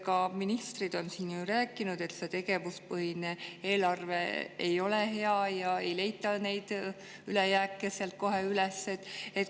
Ka ministrid on siin rääkinud, et tegevuspõhine eelarve ei ole hea ja ei leita neid ülejääke sealt kohe üles.